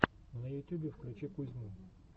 на ютюбе включи кузьму